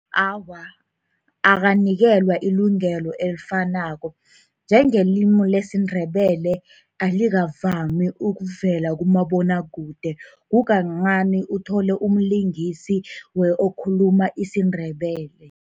Awa, akanikelwa ilungelo elifanako. Njengelimi lesiNdebele, alikavami ukuvela kumabonwakude. Kukancani uthole umlingisi okhuluma isiNdebele.